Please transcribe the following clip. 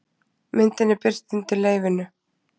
myndin er birt undir leyfinu